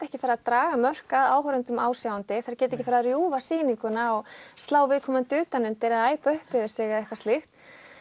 ekki farið að draga mörk að áhorfendum ásjáandi þær geta ekki farið að rjúfa sýninguna og slá viðkomandi utan undir eða æpa upp yfir sig eða eitthvað slíkt